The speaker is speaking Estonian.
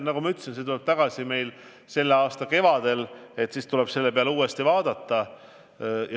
Nagu ma ütlesin, see teema tuleb meile tagasi selle aasta kevadel, siis tuleb selle peale uuesti vaadata.